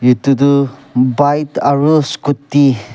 etu tu bike aru scooty --